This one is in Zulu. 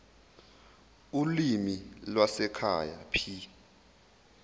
ulimi lwasekhaya p